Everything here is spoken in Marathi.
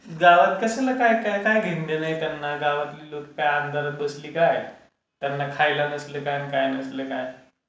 गावात कशाला काय काय घेणंदेणं आहे त्यांना? गावातले लोक काय अंधारात बसली काय, त्यांना खाल्लं नसलं काय आणि काय नसलं काय.